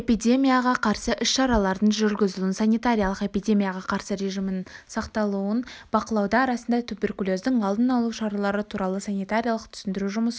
эпидемияға қарсы іс-шаралардың жүргізілуін санитариялық-эпидемияға қарсы режимнің сақталуын бақылауды арасында туберкулездің алдын алу шаралары туралы санитариялық-түсіндіру жұмысын